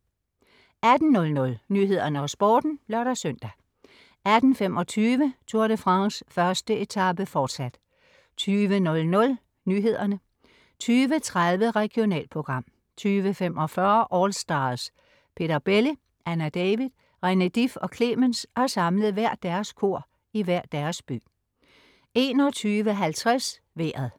18.00 Nyhederne og Sporten (lør-søn) 18.25 Tour de France: 1. etape, forsat 20.00 Nyhederne 20.30 Regionalprogram 20.45 AllStars. Peter Belli, Anna David, René Dif og Clemens har samlet hvert deres kor i hver deres by 21.50 Vejret